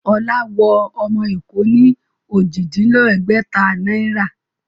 Ọlá wọ ọmọ Èkó ní Ojì-dín-lẹ́gbẹ̀ta náírà